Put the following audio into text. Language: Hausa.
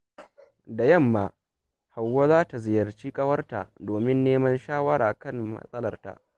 Da yamma, Hauwa za ta ziyarci ƙawarta domin neman shawara kan matsalarta.